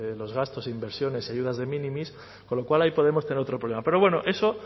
los gastos e inversiones y ayudas de minimis con lo cual ahí podemos tener otro problema pero bueno eso